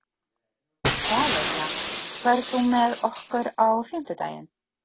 Valería, ferð þú með okkur á fimmtudaginn?